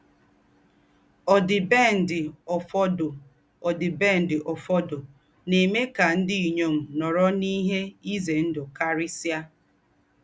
Ọ̀dìbèndị̀ ófọ̀dọ̀ Ọ̀dìbèndị̀ ófọ̀dọ̀ nà-èmè ká ndí́ ínyọm nọ̀rò n’íhé ízé ńdú kárísíá.